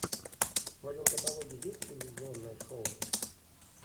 в твоем каталоге есть телевизионное шоу